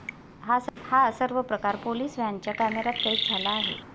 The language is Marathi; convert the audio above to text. हा सर्व प्रकार पोलीस व्हॅनच्या कॅमेरात कैद झाला आहे.